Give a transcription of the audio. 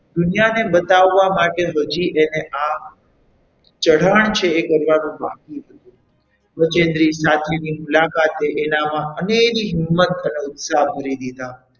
દુનિયાને બતાવવા માટે હજી એને આ ચઢાણ છે એ કરવાનું બાકી હતું બજેન્દ્રી સાથેની મુલાકાતે એનામાં અનેરી હિંમત અને ઉત્સાહ ભરી દીધા.